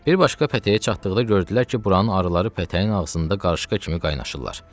Bir başqa pətəyə çatdıqda gördülər ki, buranın arıları pətəyin ağzında qarışqa kimi qaynaşırlar.